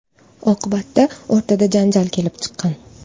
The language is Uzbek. Oqibatda o‘rtada janjal kelib chiqqan.